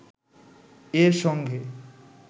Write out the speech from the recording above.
এর সঙ্গে